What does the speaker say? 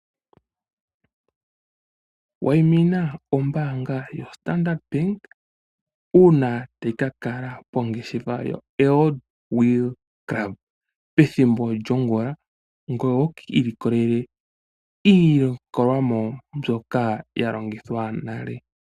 Wa yimina ombanga ya Standard bank uuna tayi kakala pongeshefa yo Old Wheelers club pethimbo lyongula, ngoye wikii likolele iiyenditho mbyoka ya longithwa nale.